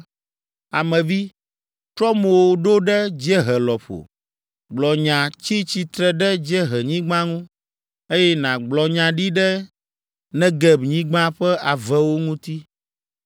“Ame vi, trɔ mo ɖo ɖe dziehe lɔƒo, gblɔ nya tsi tsitre ɖe dziehenyigba ŋu, eye nàgblɔ nya ɖi ɖe Negebnyigba ƒe avewo ŋuti.